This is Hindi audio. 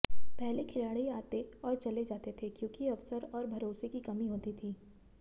पहले खिलाड़ी आते और चले जाते थे क्योंकि अवसर और भरोसे की कमी होती थी